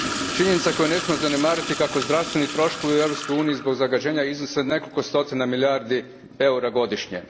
Činjenica koju ne smijemo zanemariti je kako zdravstveni troškovi u Europskoj uniji zbog zagađenja iznose nekoliko stotina milijardi eura godišnje.